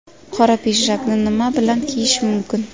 Qora pidjakni nima bilan kiyish mumkin?.